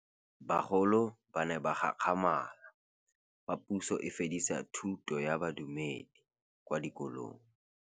Bagolo ba ne ba gakgamala fa Pusô e fedisa thutô ya Bodumedi kwa dikolong.